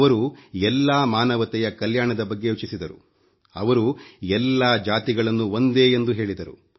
ಅವರು ಎಲ್ಲಾ ಮಾನವತೆಯ ಕಲ್ಯಾಣದ ಬಗ್ಗೆ ಯೋಚಿಸಿದರು ಅವರು ಎಲ್ಲಾ ಜಾತಿಗಳನ್ನೂ ಒಂದೇ ಎಂದು ಹೇಳಿದರು